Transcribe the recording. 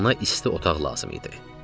Ona isti otaq lazım idi.